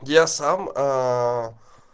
я сам